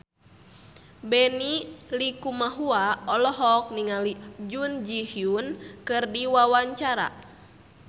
Benny Likumahua olohok ningali Jun Ji Hyun keur diwawancara